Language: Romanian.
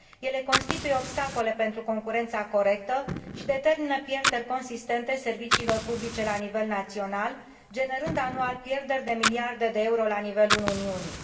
Ele constituie obstacole pentru concurența corectă și determină pierderi consistente în domeniul serviciilor publice la nivel național, generând anual pierderi de miliarde de euro la nivelul Uniunii.